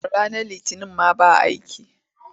Ranar Litinin ma ba aiki?